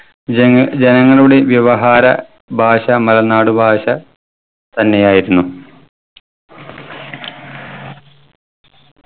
ജന ജനങ്ങളുടെ വ്യവഹാര ഭാഷ മലനാട് ഭാഷ തന്നെയായിരുന്നു.